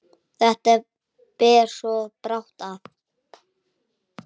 Þetta ber svo brátt að.